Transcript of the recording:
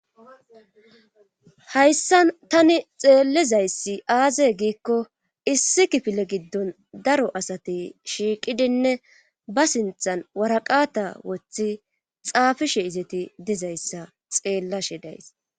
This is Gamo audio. hayssa tani xeellizayssi aaze giikko issi kifile giddon daro asati shiiqidinne ba sinthan waraqata wothi xaafishe izeti dizayssa xeellashe days